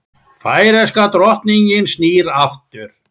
Færeyska drottningin snýr aftur